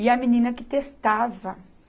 E a menina que testava.